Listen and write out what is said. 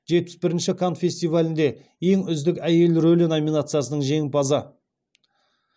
жетпіс бірінші канн кинофестивалінде ең үздік әйел рөлі номинациясының жеңімпазы